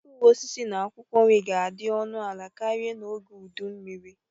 Mkpụrụ osisi na akwụkwọ nri ga-adị ọnụ ala karịa n'oge udu mmiri.